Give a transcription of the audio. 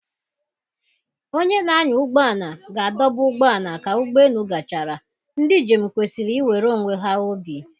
Onye na-anya ụgbọ ala ga-adọba ụgbọ ala ka ụgbọ elu gachara, ndị njem kwesịrị iwere onwe ha obi